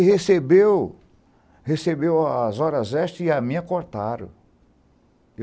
E recebeu recebeu as horas extras e a minha cortaram.